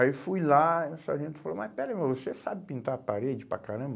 Aí eu fui lá e o sargento falou, mas pera aí, você sabe pintar a parede para caramba?